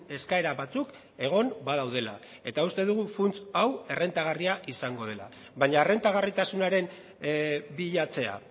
eskaera batzuk egon badaudela eta uste dugu funts hau errentagarria izango dela baina errentagarritasunaren bilatzea